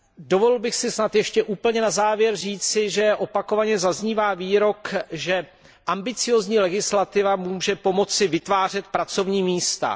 Dovolil bych si snad ještě úplně na závěr říci, že opakovaně zaznívá výrok, že ambiciózní legislativa může pomoci vytvářet pracovní místa.